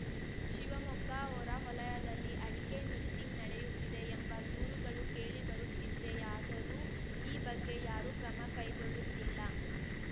ಶಿವಮೊಗ್ಗ ಹೊರವಲಯದಲ್ಲಿ ಅಡಿಕೆ ಮಿಕ್ಸಿಂಗ್‌ ನಡೆಯುತ್ತಿದೆ ಎಂಬ ದೂರುಗಳು ಕೇಳಿ ಬರುತ್ತಿದ್ದೆಯಾದರೂ ಈ ಬಗ್ಗೆ ಯಾರೂ ಕ್ರಮ ಕೈಗೊಳ್ಳುತ್ತಿಲ್ಲ